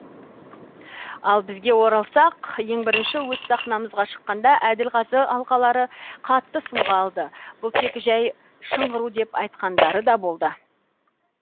ал бізге оралсақ ең бірінші өз сахнамызға шыққанда әділ қазы алқалары қатты сынға алды бұл тек жәй шыңғыру деп айтқандары да болды